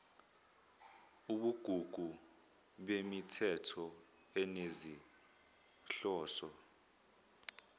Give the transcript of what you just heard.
ubugugu bemithetho enezinhloso